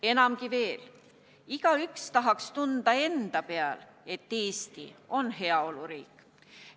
Enamgi veel, igaüks tahaks ise tunda, et Eesti on heaoluriik.